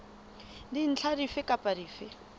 dintlha dife kapa dife tse